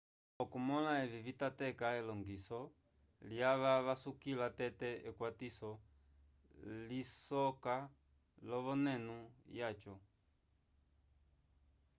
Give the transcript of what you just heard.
okumõla evi vitateka elongiso lyava vasukila tete ekwatiso ilisoka l'ovenenu yaco